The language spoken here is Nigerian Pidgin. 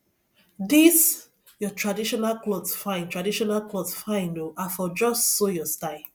dis your traditional cloth fine traditional cloth fine oo i for just sew your style